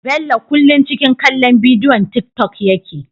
Bello kullun ciki kallon bidiwon tik tok yake